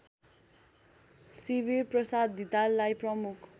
शिविरप्रसाद धिताललाई प्रमुख